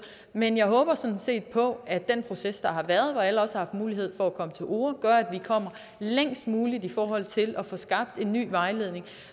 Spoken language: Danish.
men jeg håber sådan set på at den proces der har været hvor alle også har haft mulighed for at komme til orde gør at vi kommer længst muligt i forhold til at få skabt en ny vejledning